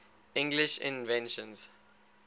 english inventions